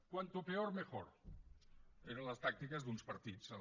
cuanto peor mejor eren les tàctiques d’uns partits a la